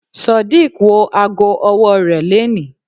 Sodiq wọ ago ọwọ́ rẹ̀ leni.